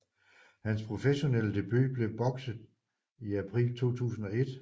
Hans professionelle debut blev bokset i april 2001